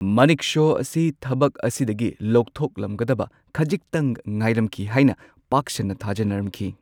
ꯃꯅꯦꯛꯁꯣ ꯑꯁꯤ ꯊꯕꯛ ꯑꯁꯤꯗꯒꯤ ꯂꯧꯊꯣꯛꯂꯝꯒꯗꯕ ꯈꯖꯤꯛꯇꯪ ꯉꯥꯏꯔꯝꯈꯤ ꯍꯥꯏꯅ ꯄꯥꯛ ꯁꯟꯅ ꯊꯥꯖꯅꯔꯝꯈꯤ꯫